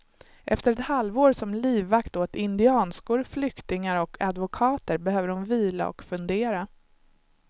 Efter ett halvår som livvakt åt indianskor, flyktingar och advokater behöver hon vila och fundera.